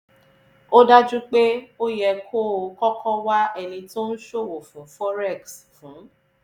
ó dájú pé ó yẹ kó o kọ́kọ́ wá ẹni tó ń ṣòwò fún forex fún